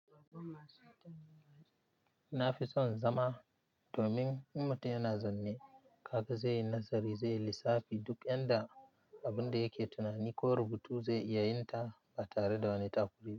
Na fi son zama domin mutum yana zanne karka zai yi nazari, zai yi lissafi duk yanda abun da yake tunani ko rubutu zai iya yin ta ba tare da wani takura ba.